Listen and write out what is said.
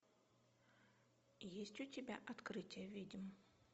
есть у тебя открытие ведьм